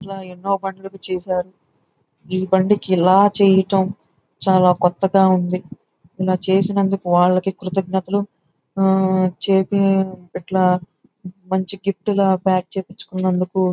ఇట్లా ఎన్నో బల్లుకు చేసారు. ఈ బండికి ఇలా చేయటం చాలా కొత్తగా ఉంది. ఇలా చేసినందుకు వాల్కి కృతజ్ఞతలు. ఆ చేపి ఇట్లా మంచి గిఫ్ట్ ల ప్యాక్ చేపించుకున్నందుకు--